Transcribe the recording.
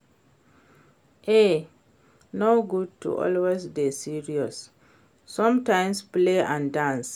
E no good to always dey serious, sometimes play and dance